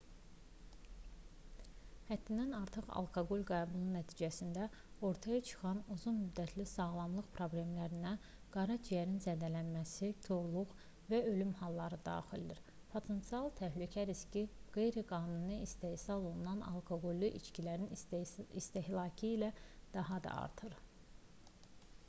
həddindən artıq alkoqol qəbulu nəticəsində ortaya çıxan uzun müddətli sağlamlıq problemlərinə qara ciyərin zədələnməsi korluq və ölüm halları daxildir potensial təhlükə riski qeyri-qanuni istehsal olunan alkoqollu içkilərin istehlakı ilə daha da artır